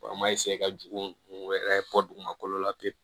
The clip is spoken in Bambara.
an ma ka jugu wɛrɛ bɔ dugumala la pewu